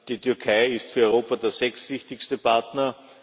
Die Türkei ist für Europa der sechstwichtigste Partner.